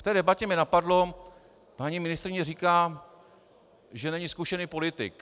V té debatě mě napadlo, paní ministryně říká, že není zkušený politik.